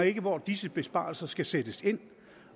ikke hvor disse besparelser skal sættes ind